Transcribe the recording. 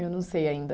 Eu não sei ainda.